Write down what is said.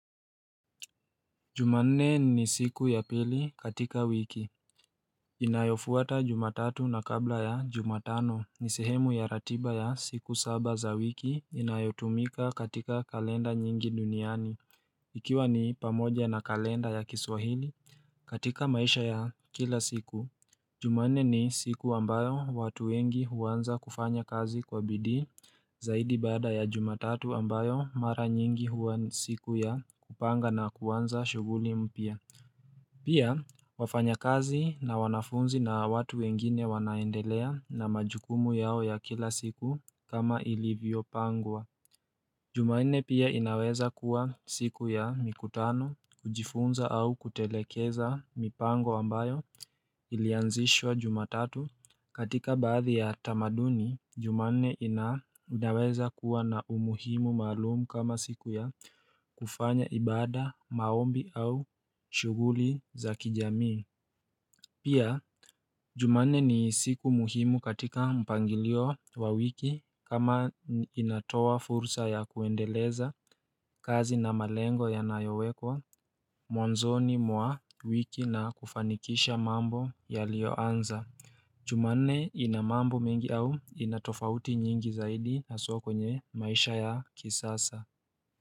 Jumanne ni siku ya pili katika wiki inayofuata jumatatu na kabla ya jumatano ni sehemu ya ratiba ya siku saba za wiki inayotumika katika kalenda nyingi duniani Ikiwa ni pamoja na kalenda ya kiswahili katika maisha ya kila siku Jumanne ni siku ambayo watu wengi huanza kufanya kazi kwa bidii zaidi baada ya jumatatu ambayo mara nyingi huwa siku ya kupanga na kuanza shuguli mpya Pia wafanya kazi na wanafunzi na watu wengine wanaendelea na majukumu yao ya kila siku kama ilivyo pangwa Jumanne pia inaweza kuwa siku ya mikutano kujifunza au kutelekeza mipango ambayo Ilianzishwa jumatatu katika baadhi ya tamaduni jumanne ina inaweza kuwa na umuhimu maalum kama siku ya kufanya ibada maombi au shuguli za kijamii Pia jumanne ni siku muhimu katika mpangilio wa wiki kama inatoa fursa ya kuendeleza kazi na malengo yanayowekwa mwanzoni mwa wiki na kufanikisha mambo ya liyoanza Jumanne inamambo mengi au inatofauti nyingi zaidi haswa kwenye maisha ya kisasa.